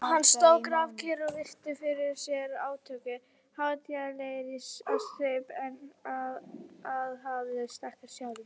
Hann stóð grafkyrr og virti fyrir sér átökin, hátíðlegur á svip en aðhafðist ekkert sjálfur.